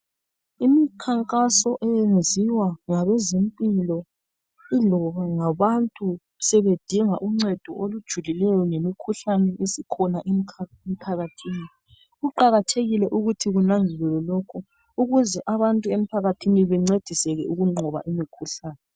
Umkhankaso owenziwa ngabezempilo iloba ngabantu sebedinga uncedo olujulileyo ngemikhuhlane esikhona emkha emphakathini. Kuqakathekile ukuthi kunanziwe lokho, ukuze abantu emphakathini bancediseke ukunqoba umkhuhlane